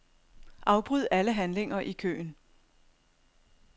Afbryd alle handlinger i køen.